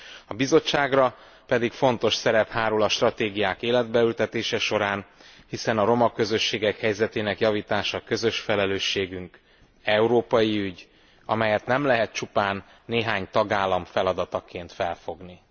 A Bizottságra fontos szerep hárul a stratégiák életbe ültetése során, hiszen a roma közösségek helyzetének javítása közös felelősségünk, európai ügy, amelyet nem lehet csupán néhány tagállam feladataként felfogni.